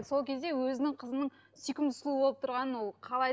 сол кезде өзінің қызының сүйкімді сұлу болып тұрғанын ол қалайды